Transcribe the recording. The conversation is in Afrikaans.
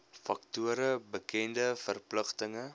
faktore bekende verpligtinge